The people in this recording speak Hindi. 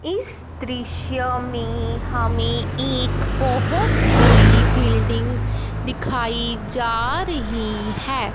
इस दृश्य में हमें एक बहोत बड़ी बिल्डिंग दिखाई जा रही है।